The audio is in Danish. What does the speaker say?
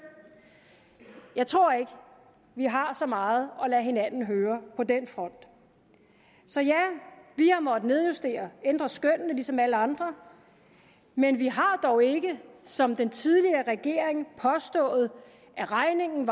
jeg tror ikke vi har så meget at lade hinanden høre på den front så ja vi har måttet nedjustere ændre skønnene ligesom alle andre men vi har dog ikke som den tidligere regering påstået at regningen